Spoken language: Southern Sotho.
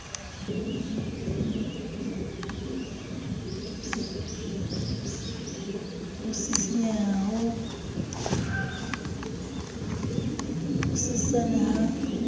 ho sisinyeha ho hosesane ha